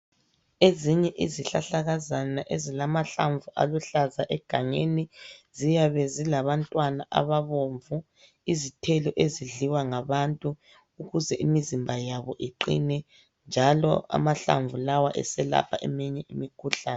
Ezinye izihlahlakazana ezilamahlamvu aluhlaza egangeni ziyabe zilabantwana ababomvu, izithelo ezidliwa ngabantu ukuze imizimba yabo iqine njalo amahlamvu lawa eselapha eminye imikhuhlane.